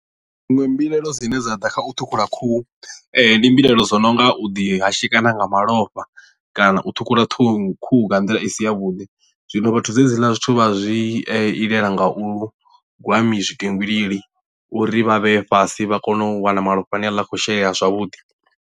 Dziṅwe mbilaelo dzine dza ḓa kha u ṱhukhula khuhu ndi mbilaelo dzo no nga u ḓi hashekana nga malofha kana u ṱhukhula ṱhukhu khuhu nga nḓila i si ya vhuḓi zwino vhathu dzedziḽa zwithu vha zwi itela nga u gwa mi zwitengili uri vha vheye fhasi vha kone u wana malofha ane a khou shelea zwavhuḓi.